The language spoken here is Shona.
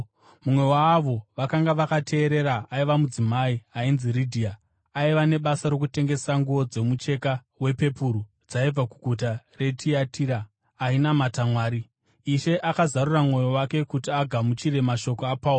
Mumwe waavo vakanga vakateerera aiva mudzimai ainzi Ridhia, aiva nebasa rokutengesa nguo dzomucheka wepepuru dzaibva kuguta reTiatira, ainamata Mwari. Ishe akazarura mwoyo wake kuti agamuchire mashoko aPauro.